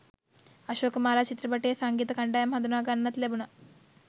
අශෝකමාලා චිත්‍රපටයේ සංගීත කණ්ඩායම හඳුනා ගන්නත් ලැබුණා